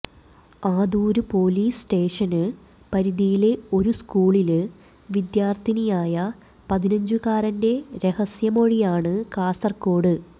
Adoor police station പരിധിയിലെ ഒരു സ്കൂളില് വിദ്യാര്ത്ഥിയായ പതിനഞ്ചുകാരന്റെ രഹസ്യമൊഴിയാണ് കാസര്കോട്